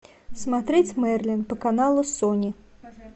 смотреть мерлин по каналу сони